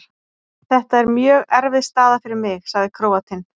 Þetta er mjög erfið staða fyrir mig, sagði Króatinn.